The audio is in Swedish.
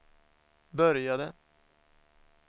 började